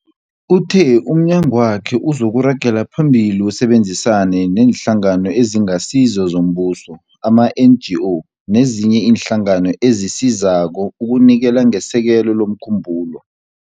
Uthe umnyagwakhe uzokuragela phambili usebenzisane neeNhlangano eziNgasizo zoMbuso, ama-NGO, nezinye iinhlangano ezisizako ukunikela ngesekelo lomkhumbulo